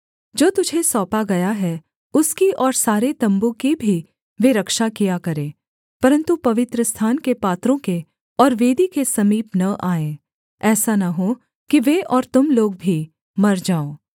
जो तुझे सौंपा गया है उसकी और सारे तम्बू की भी वे रक्षा किया करें परन्तु पवित्रस्थान के पात्रों के और वेदी के समीप न आएँ ऐसा न हो कि वे और तुम लोग भी मर जाओ